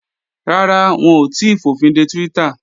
Rárá, wọn ò tíì fòfinde Twitter